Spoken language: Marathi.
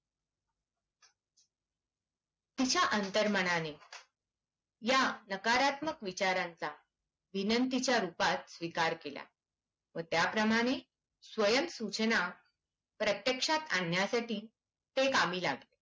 तिच्या अंतर मनाने या नकारात्मक विचारांचा विनंतीच्या रूपात स्वीकार केला व त्या प्रमाणे स्वयंसूचना प्रत्यक्षात आणण्यासाठी ते कामी लागले